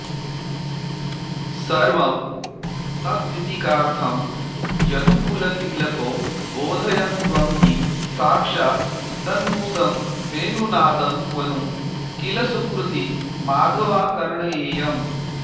सर्वं तद्गीतिकार्थं यदुकुलतिलको बोधयस्त्वं हि साक्षात् तन्मूसं वेणुनादं क्वनु किल सुकृती माधवाकर्णयेयम्